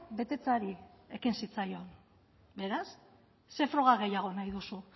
betetzeari ekin zitzaion beraz ze froga gehiago nahi duzu